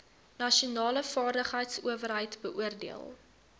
nasionale vaardigheidsowerheid beoordeel